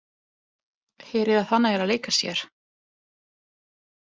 Heyrir að hann er að leika sér.